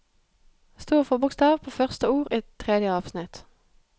Stor forbokstav på første ord i tredje avsnitt